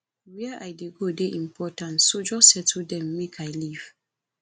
where i dey go dey important so just settle dem make i leave